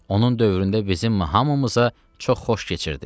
Onun dövründə bizim hamımıza çox xoş keçirdi.